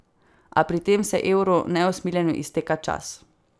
A pri tem se evru neusmiljeno izteka čas.